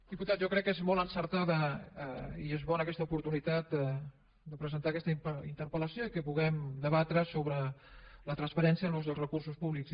diputat jo crec que és molt encertada i és bona aquesta oportunitat de presentar aquesta interpel·lació i que puguem debatre sobre la transparència en l’ús dels recursos públics